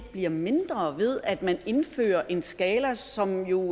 bliver mindre ved at man indfører en skala som jo